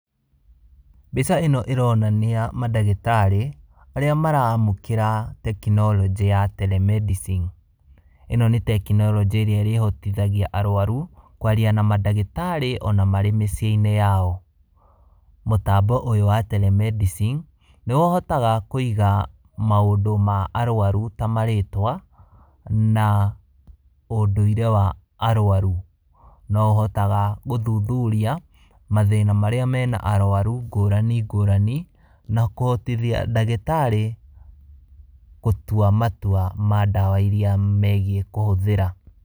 Mbica ĩno ĩronania mandagĩtari arĩa maramũkĩra tekinoronjĩ ya , Tele medicine. Ĩno nĩ tekinoronjĩ ĩrĩa ĩrĩhotithagia arwaru kwaria na mandagĩtarĩ ona marĩ mĩciĩ-inĩ yao. Mũtambo ũyũ wa Telemedicine nĩ ũhotaga kũiga maũndũ ma arwaru ta marĩtwa na ũndũire wa arwaru. No ũhotaga gũthuthuria mathĩna marĩa mena arwaru ngũrani ngũrani, na kũhotithia ndagĩtarĩ gũtua matua ma ndawa iria megie kũhũthĩra.